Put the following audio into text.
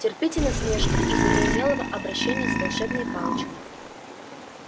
терпите насмешки из-за неумелого обращения с волшебной палочкой